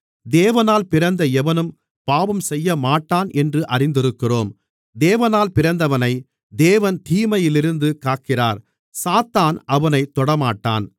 தேவனால் பிறந்த எவனும் பாவம் செய்யமாட்டான் என்று அறிந்திருக்கிறோம் தேவனால் பிறந்தவனை தேவன் தீமையிலிருந்து காக்கிறார் சாத்தான் அவனைத் தொடமாட்டான்